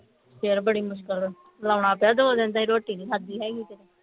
ਫੇਰ ਬੜੀ ਮੁਸ਼ਕਿਲ ਲਾਉਣਾ ਪਿਆ ਦੋ ਦਿਨ ਤਾਈਂ ਰੋਟੀ ਨਹੀਂ ਖਾਦੀ ਹੈਗੀ ਤੇ